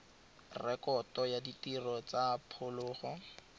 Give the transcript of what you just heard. rekoto ya ditiro tsa phologolo